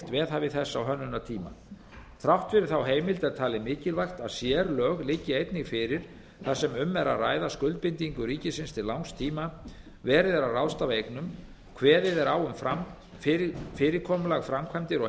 veðhæfi þess á hönnunartíma þrátt fyrir þá heimild er talið mikilvægt að sérlög liggi einnig fyrir þar sem um er að ræða skuldbindingu ríkisins til langs tíma verið er að ráðstafa eignum kveðið er á um fyrirkomulag framkvæmda og